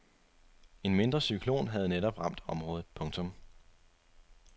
En mindre cyklon havde netop ramt området. punktum